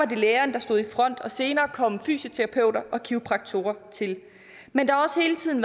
det lægerne der stod i front og senere kom fysioterapeuter og kiropraktorer til men der